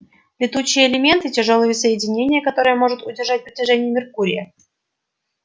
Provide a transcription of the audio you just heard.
летучие элементы тяжёлые соединения которые может удержать притяжение меркурия